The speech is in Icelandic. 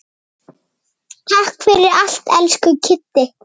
Takk fyrir allt, elsku Kiddi.